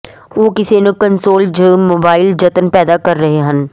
ਉਹ ਕਿਸੇ ਨੂੰ ਕੰਸੋਲ ਜ ਮੋਬਾਈਲ ਜੰਤਰ ਪੈਦਾ ਕਰ ਰਹੇ ਹਨ